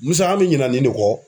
Musa an mɛ ɲina nin ne kɔ.